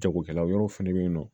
Jagokɛla wɛrɛw fana bɛ yen nɔ